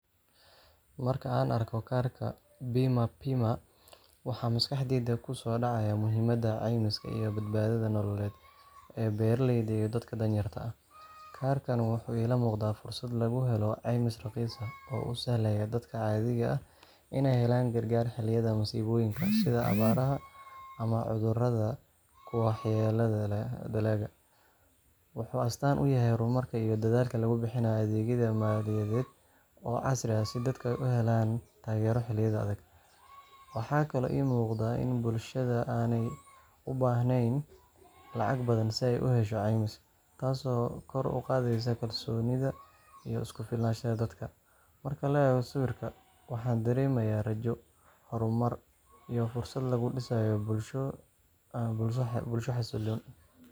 Marka aan arko kaarka Bima Pima, waxa maskaxdayda ku soo dhacaya muhiimadda caymiska iyo badbaadada nololeed ee beeraleyda iyo dadka danyarta ah. Kaarkani wuxuu ila muuqdaa fursad lagu helo caymis raqiis ah oo u sahlaya dadka caadiga ah inay helaan gargaar xilliyada masiibooyinka sida abaaraha ama cudurrada ku waxyeelleeya dalagga. Wuxuu astaan u yahay horumarka iyo dadaalka lagu bixinayo adeegyo maaliyadeed oo casri ah si dadku u helaan taageero xilliyada adag. Waxaa kaloo ii muuqda in bulshada aanay u baahnayn lacag badan si ay u hesho caymis, taasoo kor u qaadaysa kalsoonida iyo isku-filnaanshaha dadka. Marka la eego sawirka, waxaan dareemayaa rajo, horumar, iyo fursad lagu dhisayo bulsho xasilloon.